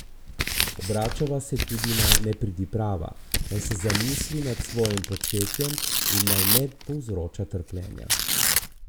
Obračava se tudi na nepridiprava, naj se zamisli nad svojim početjem in naj ne povzroča trpljenja!